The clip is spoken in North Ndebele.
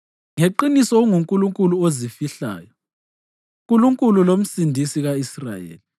Ngeqiniso unguNkulunkulu ozifihlayo, Nkulunkulu loMsindisi ka-Israyeli.